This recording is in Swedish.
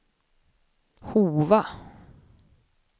Hova